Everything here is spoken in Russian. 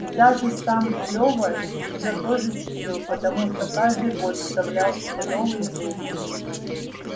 и даже сам лёва её тоже чтил потому что каждый год вставлял себе новые зубы